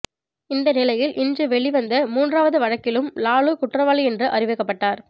இந்த நிலையில் இன்று வெளிவந்த மூன்றாவது வழக்கிலும் லாலு குற்றவாளி என்று அறிவிக்கப்பட்டார்